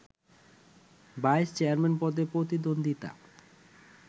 vice chairman পদে প্রতিদ্বন্দ্বিতা